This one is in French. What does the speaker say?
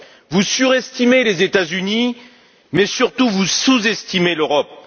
Vous surestimez les États Unis, mais surtout vous sous estimez l'Europe.